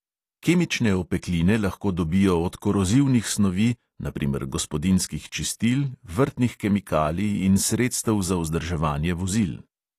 Kemične opekline lahko dobijo od korozivnih snovi, na primer gospodinjskih čistil, vrtnih kemikalij in sredstev za vzdrževanje vozil.